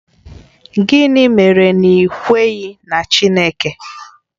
Gịnị mere na i kweghị na Chineke?